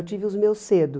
Eu tive os meus cedo.